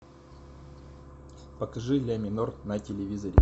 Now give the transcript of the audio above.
покажи ля минор на телевизоре